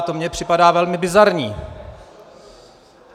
A to mi připadá velmi bizarní.